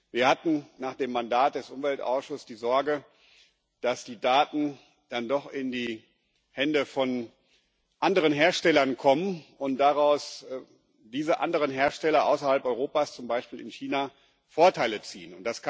Wir hatten nach dem Mandat des Umweltausschusses die Sorge, dass die Daten dann doch in die Hände von anderen Herstellern kommen und diese anderen Hersteller außerhalb Europas, zum Beispiel in China, daraus Vorteile ziehen.